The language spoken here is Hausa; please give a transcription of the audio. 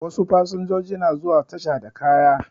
Wasu fasanjoji na zuwa tasha da kaya